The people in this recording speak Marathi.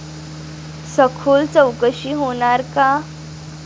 सखोल चौकशी होणार का?